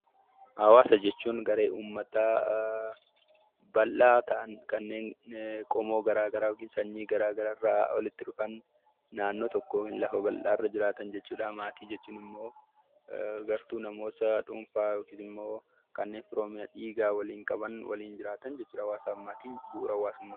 Hawaasa jechuun garee uummataa bal'aa ta'an, qomoo garaagaraa, sanyii garaagaraa naannoo tokkoo lafa bal'aa irra jiraatan. Maatii jechuun immoo gartuu namoota dhuunfaa yookiin immoo kanneen firooma dhiiga waliin qaban hawaasa keessa bu'uura hawaasummaa tiin.